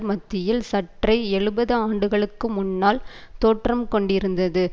மத்தியில் சற்றே எழுபது ஆண்டுகளுக்கு முன்னால் தோற்றம் கொண்டிருந்தது